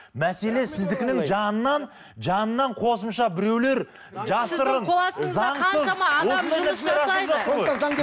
мәселе сіздікінің жанынан жанынан қосымша біреулер жасырын заңсыз